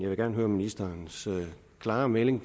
vil gerne høre ministerens klare melding